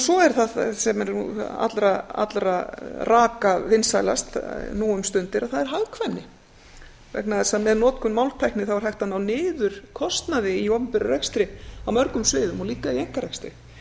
svo er það sem er allra raka vinsælast nú um stundir og það er hagkvæmni vegna þess að með notkun máltækni er hægt að ná niður kostnaði í opinberum rekstri á mörgum sviðum og líka í einkarekstri